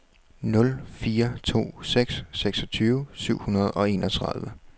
nul fire to seks seksogtyve syv hundrede og enogtredive